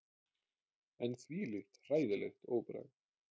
En þvílíkt hræðilegt óbragð!